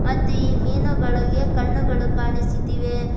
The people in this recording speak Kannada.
ಮತ್ತು ಈ ಮೀನುಗಳಿಗೆ ಕಣ್ಣುಗಳು ಕಾಣಿಸುತ್ತಿವೆ.